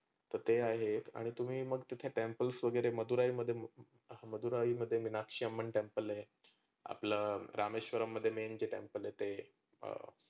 तर ते आहे आणि तुम्ही मग तिथे temples वगैरे मधुरायमध्ये मधुराईमध्ये मिनाक्षीअमा temple आहे. आपलं रामेश्वरंम मध्ये main जे temple आहे ते.